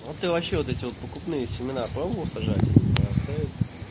а ты вообще вот эти покупные семена пробовал сажать они прорастают